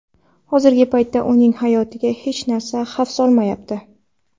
Hozirgi paytda uning hayotiga hech narsa xavf solmayapti.